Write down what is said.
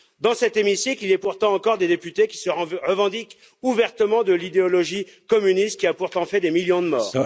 Dans cet hémicycle, il est pourtant encore des députés qui se revendiquent ouvertement de l'idéologie communiste, qui a pourtant fait des millions de morts.